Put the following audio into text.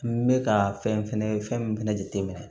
N bɛ ka fɛn fɛnɛ fɛn min fɛnɛ jateminɛ